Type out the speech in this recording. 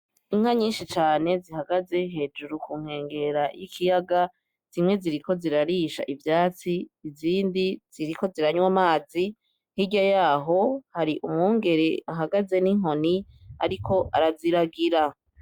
Inka nyinshi cane zihagaze hejuru kunkwengera y'ikiyaga zimwe ziriko zirarisha ivyatsi izindi ziriko ziranywa amazi hkirya yaho hari umwungere ahagaze n'inkoni, ariko araziragira.